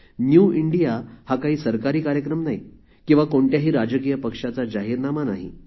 new India हा काही सरकारी कार्यक्रम नाही किंवा कोणत्याही राजकीय पक्षाचा जाहीरनामा नाही